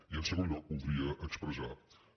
i en segon lloc voldria expressar que